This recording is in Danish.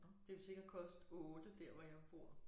Det ville sikkert koste 8 dér hvor jeg bor